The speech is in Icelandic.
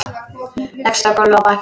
Leggst á gólfið á bakið.